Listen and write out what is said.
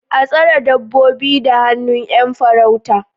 A tsare dabbobi da hannun 'yan farauta